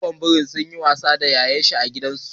Goggon biri suna wasa da ya'yan su a gidan zoo da muka kai ziyara.